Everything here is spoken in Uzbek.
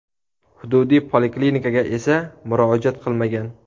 Hududiy poliklinikaga esa murojaat qilmagan.